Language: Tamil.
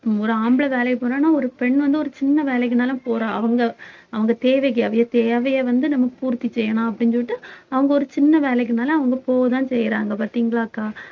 ஒரு ஆம்பளை வேலைக்கு போனான்னா ஒரு பெண் வந்து ஒரு சின்ன வேலைக்குனாலும் போறா அவங்க அவங்க தேவைக்கு அவிய தேவையை வந்து நமக்கு பூர்த்தி செய்யலாம் அப்படின்னு சொல்லிட்டு அவங்க ஒரு சின்ன வேலைக்கு மேல அவங்க போகத்தான் செய்யறாங்க பாத்தீங்களாக்கா